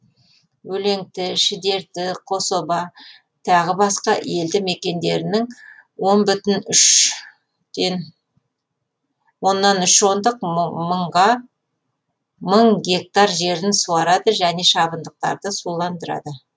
өлеңті шідерті қособа тағы басқа елді мекендерінің оннан үш ондық мың гектар жерін суарады және шабындықтарды суландырады